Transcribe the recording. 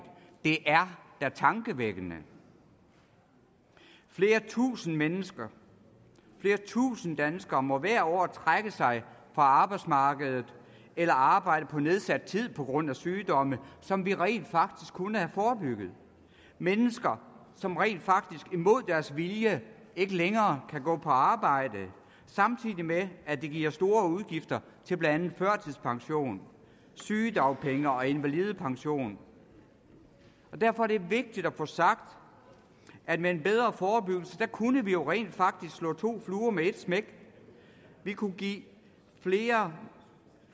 det er da tankevækkende flere tusinde mennesker flere tusinde danskere må hvert år trække sig fra arbejdsmarkedet eller arbejde på nedsat tid på grund af sygdomme som vi rent faktisk kunne have forebygget mennesker som rent faktisk imod deres vilje ikke længere kan gå på arbejde samtidig med at det giver store udgifter til blandt andet førtidspension sygedagpenge og invalidepension derfor er det vigtigt at få sagt at med en bedre forebyggelse kunne vi jo rent faktisk slå to fluer med et smæk vi kunne give flere